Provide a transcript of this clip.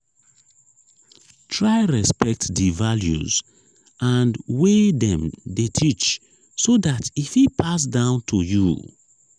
try respect di values and wey dem de teach so that e fit pass down to you